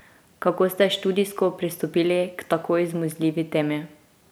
Kako ste študijsko pristopili k tako izmuzljivi temi?